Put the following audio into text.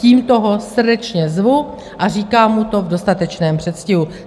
Tímto ho srdečně zvu a říkám mu to v dostatečném předstihu.